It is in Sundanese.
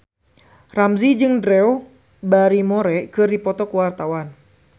Ramzy jeung Drew Barrymore keur dipoto ku wartawan